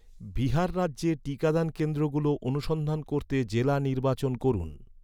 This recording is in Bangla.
বিহার রাজ্যে টিকাদান কেন্দ্রগুলো অনুসন্ধান করতে জেলা নির্বাচন করুন